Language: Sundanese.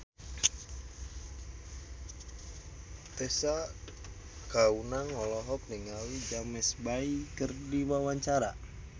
Tessa Kaunang olohok ningali James Bay keur diwawancara